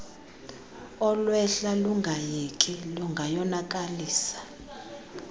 olwehla lungayeki lungayonakalisa